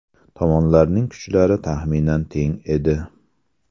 Tomonlarning kuchlari taxminan teng edi.